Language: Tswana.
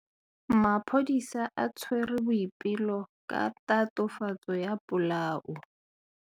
Maphodisa a tshwere Boipelo ka tatofatsô ya polaô.